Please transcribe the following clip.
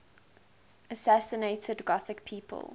assassinated gothic people